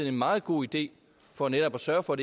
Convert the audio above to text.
en meget god idé for netop at sørge for